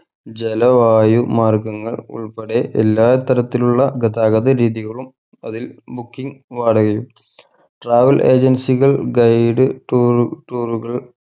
ജല വായു മാർഗങ്ങൾ ഉൾപ്പെടെ എല്ലാ തരത്തിലുള്ള ഗതാഗത രീതികളും അതിൽ booking വാടകയും travel agency കൾ guide tour tour കൾ